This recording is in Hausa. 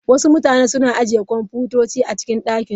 Wasu mutane suna ajiye kwamfutoci a ɗakin su.